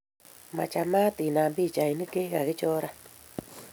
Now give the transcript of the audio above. Machamat inam pikchainik chigagichoran